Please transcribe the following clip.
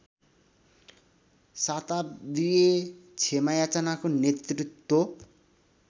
शताव्दीय क्षमायाचनाको नेतृत्व